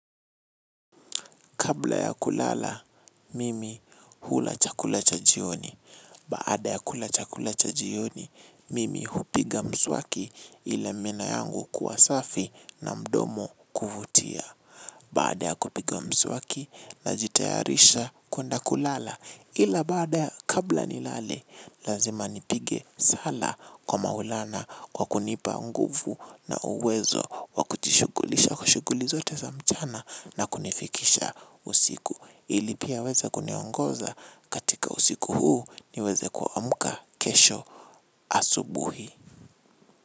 Kabla ya kulala, mimi hula chakula cha jioni. Baada ya kula chakula cha jioni, mimi hupiga mswaki ila meno yangu kuwa safi na mdomo kuvutia. Baada ya kupiga mswaki, najitayarisha kwenda kulala ila baada ya kabla nilale, lazima nipige sala kwa Maulana, kwa kunipa nguvu na uwezo wakujishugulisha kwa shughuli zote za mchana na kunifikisha. Usiku ilipia weza kuniongoza katika usiku huu niweze kuamuka kesho asubuhi.